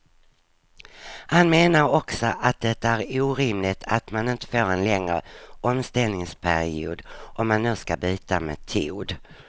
Han menar också att det är orimligt att man inte får en längre omställningsperiod om man nu ska byta metod.